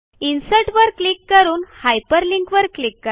insert वर click करून hyperlink वर क्लिक करा